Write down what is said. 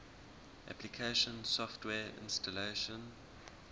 application software installation